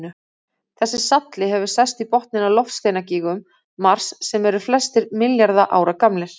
Þessi salli hefur sest í botninn á loftsteinagígum Mars sem eru flestir milljarða ára gamlir.